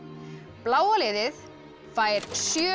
bláa liðið fær sjö